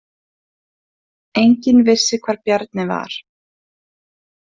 Enginn vissi hvar Bjarni var.